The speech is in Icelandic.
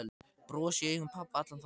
Bros í augum pabba allan þann dag.